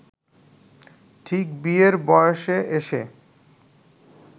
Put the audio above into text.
ঠিক বিয়ের বয়সে এসে